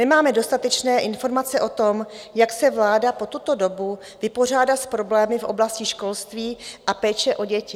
Nemáme dostatečné informace o tom, jak se vláda po tuto dobu vypořádá s problémy v oblasti školství a péče o děti.